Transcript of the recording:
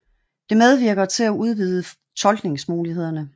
Det medvirker til at udvide tolkningsmulighederne